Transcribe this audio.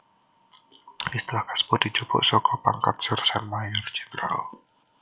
Istilah kasebut dijupuk saka pangkat Sersan Mayor Jènderal